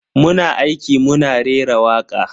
Muna aiki muna rera waka.